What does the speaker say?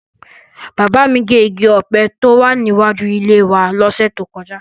Bàbá mi gé igi ọ̀pẹ tó wà níwájú ilé wa lọ́sẹ̀ tó kọjá.